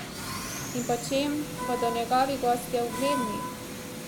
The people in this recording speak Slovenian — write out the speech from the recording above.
In po čem bodo njegovi gostje ugledni?